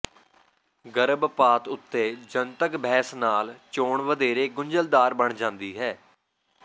ਗਰਭਪਾਤ ਉੱਤੇ ਜਨਤਕ ਬਹਿਸ ਨਾਲ ਚੋਣ ਵਧੇਰੇ ਗੁੰਝਲਦਾਰ ਬਣ ਜਾਂਦੀ ਹੈ